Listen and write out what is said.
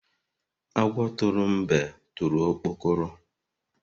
Agwọ tụrụ mgbe tụrụ okpokoro